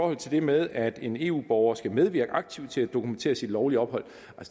at det med at en eu borger skal medvirke aktivt til at dokumentere sit lovlige ophold